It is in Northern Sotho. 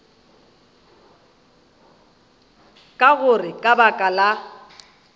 ka gore ka baka la